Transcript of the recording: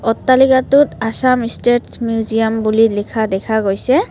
অট্টালিকাটোত Assam state museum বুলি লিখা দেখা গৈছে।